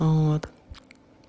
вот